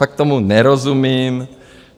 Tak tomu nerozumím.